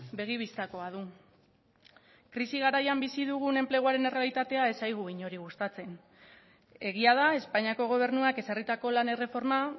begi bistakoa du krisi garaian bizi dugun enpleguaren errealitatea ez zaigu inori gustatzen egia da espainiako gobernuak ezarritako lan erreforma